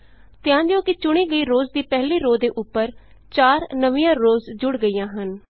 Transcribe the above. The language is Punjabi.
ਧਿਆਨ ਦਿਉ ਕਿ ਚੁਣੀ ਗਈ ਰੋਅਜ਼ ਦੀ ਪਹਿਲੀ ਰੋਅ ਦੇ ਉਪਰ 4 ਨਵੀਆਂ ਰੋਅਜ਼ ਜੁੜ ਗਈਆਂ ਹਨ